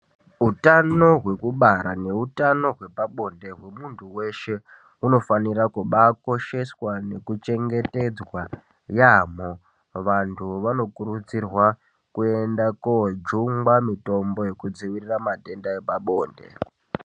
Utano hwekubara neutano hwepabonde hwemuntu weshe, hunofanira kubaakosheswa, nekuchengetedzwa yaamho. Vantu vanokurudzirwa kuenda koojungwa mitombo yekudzivirira matenda epabonde.